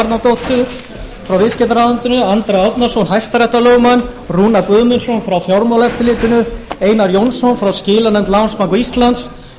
árnadóttur frá viðskiptaráðuneytinu andra árnason hæstaréttarlögmann og rúnar guðmundsson frá fjármálaeftirlitinu einar jónsson frá skilanefnd landsbanka íslands